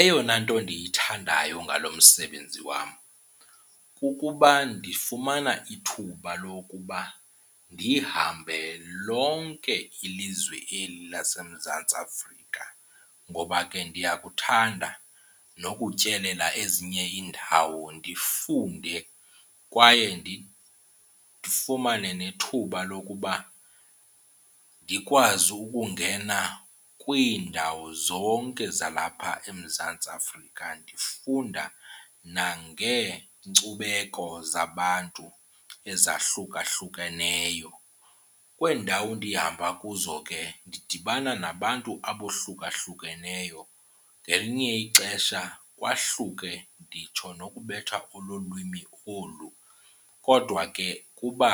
Eyona nto ndiyithandayo ngalo msebenzi wam kukuba ndifumana ithuba lokuba ndihambe lonke ilizwe eli laseMzantsi Afrika. Ngoba ke ndiyakuthanda nokutyelela ezinye iindawo ndifunde kwaye ndifumane nethuba lokuba ndikwazi ukungena kwiindawo zonke zalapha eMzantsi Afrika ndifunda nangeenkcubeko zabantu ezahlukahlukeneyo. Kwezi ndawo ndihamba kuzo ke ndidibana nabantu abohlukahlukaneyo, ngelinye ixesha kwahluke nditsho nokubetha kolwimi olu kodwa ke kuba